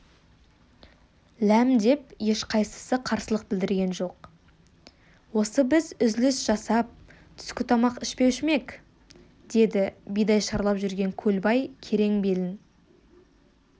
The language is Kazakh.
ләм деп ешқайсысы қарсылық білдірген жоқ осы біз үзіліс жасап түскі тамақ ішпеуші ме ек деді бидай шарлап жүрген көлбай керең белін